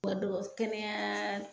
kɛnɛya